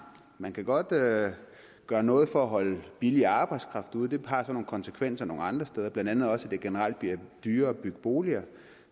man kan godt gøre gøre noget for at holde billig arbejdskraft ude det har så nogle konsekvenser nogle andre steder blandt andet også at det generelt bliver dyrere at bygge boliger